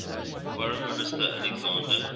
foreign minister alexander